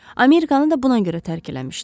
Amerikanı da buna görə tərk eləmişdi.